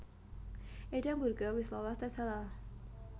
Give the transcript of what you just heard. Edam Burger wis lolos tes halal